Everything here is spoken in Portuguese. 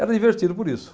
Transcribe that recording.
Era divertido por isso.